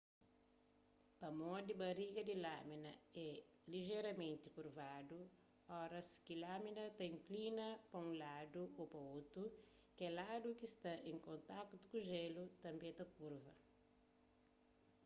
pamodi bariga di lamina é lijeramenti kurvadu óras ki lamina ta inklina pa unladu ô pa otu kel ladu ki sta en kontakutu ku jélu tanbê ta kurva